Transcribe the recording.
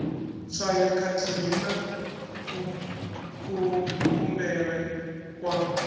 tswayo khathihi na kuvhumbelwe kwa